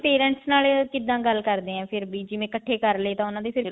parents ਨਾਲ ਕਿੱਦਾਂ ਗੱਲ ਕਰਦੇ ਆ ਫ਼ੇਰ ਵੀ ਇਕੱਠੇ ਕਰਲੇ ਤਾਂ ਉਹਨਾ ਦੇ